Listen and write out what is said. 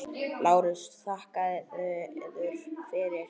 LÁRUS: Þakka yður fyrir.